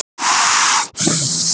Einn farþegi var í bílnum.